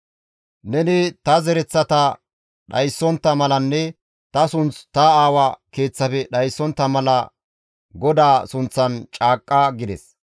Neni ta zereththata dhayssontta malanne ta sunth ta aawa keeththafe dhayssontta mala GODAA sunththan caaqqa» gides.